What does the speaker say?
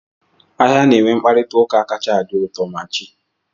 Ahịa na-enwe mkparịta ụka kacha adị uto, ma chi!